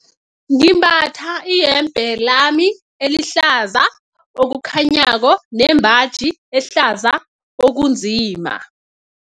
Ngimbatha iyembe lami elihlaza okukhanyako nembaji ehlaza okunzima.